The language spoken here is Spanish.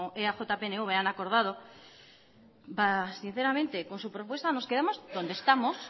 eaj pnv han acordado sinceramente con su propuesta nos quedamos donde estamos